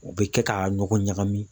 U bɛ kɛ ka ɲɔgɔn ɲagami